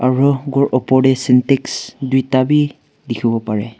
Aro ghor opor dae syntex duida bhi dekhivo parey.